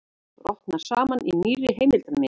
Brotnar saman í nýrri heimildarmynd